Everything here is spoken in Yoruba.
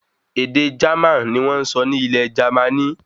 Èdè Jerman ní wọ́n sọ ní ilẹ̀ Jermaní